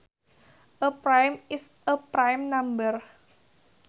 A prime is a prime number